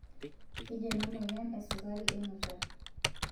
Keji ena emoyian esukari enutai.